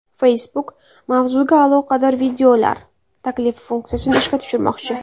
Facebook mavzuga aloqador videolar taklifi funksiyasini ishga tushirmoqchi.